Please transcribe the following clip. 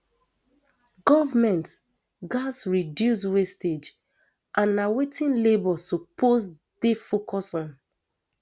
goment gatz reduce wastage and na wetin labour suppose dey focus on